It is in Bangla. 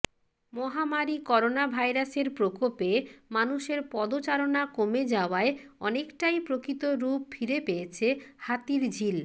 মহামারি করোনাভাইরাসের প্রকোপে মানুষের পদচারণা কমে যাওয়ায় অনেকটাই প্রকৃত রূপ ফিরে পেয়েছে হাতিরঝিল